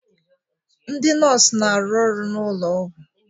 Ndị nọọsụ na-arụ n'ụlọ ọgwụ